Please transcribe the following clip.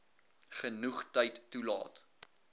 genoeg tyd toelaat